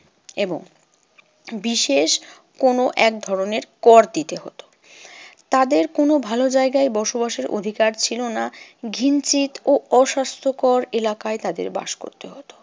এবং বিশেষ কোনো এক ধরনের কর দিতে হতো। তাদের কোনো ভালো জায়গায় বসবাসের অধিকার ছিল না। ঘিঞ্চিত ও অস্বাস্থ্যকর এলাকায় তাদের বাস করতে হতো।